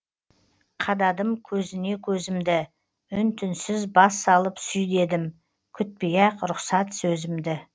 қададым көзіне көзімді үн түнсіз бас салып сүй дедім күтпей ақ рұхсат сөзімді